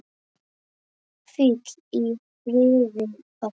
Hvíl í friði, pabbi.